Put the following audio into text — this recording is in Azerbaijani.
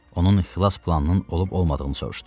Onun xilas planının olub-olmadığını soruşdu.